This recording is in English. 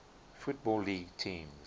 football league teams